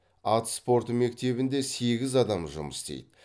ат спорты мектебінде сегіз адам жұмыс істейді